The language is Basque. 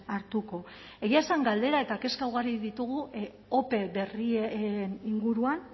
hartuko egia esan galdera eta kezka ugari ditugu ope berrien inguruan